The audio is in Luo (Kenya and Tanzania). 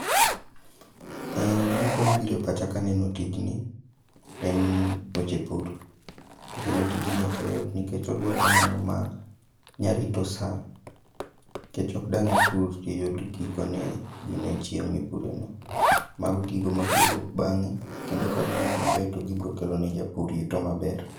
Gima kuong bire pacha kaneno tijni en weche pur, to kendo tijni okoyot nikech odwaro ng'ano ma nya rito sa. Kech ok dang' ipur tiyud gikone gino e chieng' mipure no, mago gigo mabro wuok bang'e. Kendo kagiwuok maber to gibro kelo ne japur yuto maber.